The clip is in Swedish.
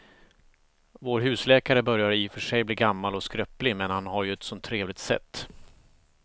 Vår husläkare börjar i och för sig bli gammal och skröplig, men han har ju ett sådant trevligt sätt!